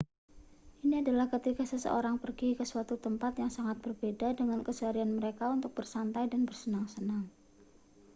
ini adalah ketika seseorang pergi ke suatu tempat yang sangat berbeda dengan keseharian mereka untuk bersantai dan bersenang-senang